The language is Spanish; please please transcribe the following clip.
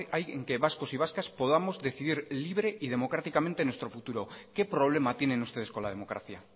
hay en que vascos y vascas podamos decidir libre y democráticamente nuestro futuro qué problema tienen ustedes con la democracia